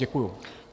Děkuji.